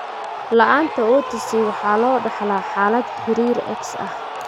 La'aanta OTC waxaa loo dhaxlaa xaalad xiriir X ah.